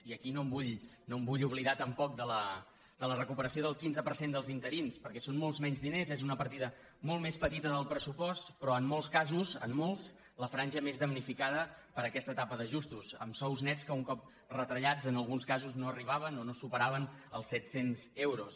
i aquí no em vull oblidar tampoc de la recuperació del quinze per cent dels interins perquè són molts menys diners és una partida molt més petita del pressupost però en molts casos en molts la franja més damnifi·cada per aquesta etapa d’ajustos amb sous nets que un cop retallats en alguns casos no arribaven o no supe·raven els set cents euros